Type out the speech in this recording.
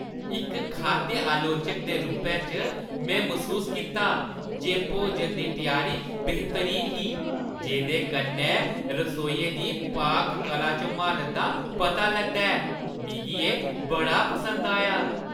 इक खाद्य आलोचक दे रूपै च, मैं मसूस कीता जे भोजन दी त्यारी बेह्तरीन ही, जेह्दे कन्नै रसोइये दी पाक-कला च म्हारत दा पता लगदा ऐ। मिगी एह् बड़ा पसंद आया।